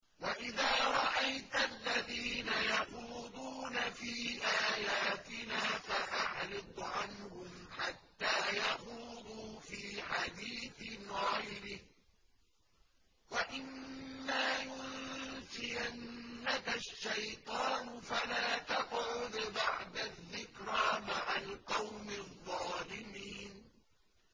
وَإِذَا رَأَيْتَ الَّذِينَ يَخُوضُونَ فِي آيَاتِنَا فَأَعْرِضْ عَنْهُمْ حَتَّىٰ يَخُوضُوا فِي حَدِيثٍ غَيْرِهِ ۚ وَإِمَّا يُنسِيَنَّكَ الشَّيْطَانُ فَلَا تَقْعُدْ بَعْدَ الذِّكْرَىٰ مَعَ الْقَوْمِ الظَّالِمِينَ